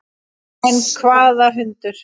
En hvaða hundur?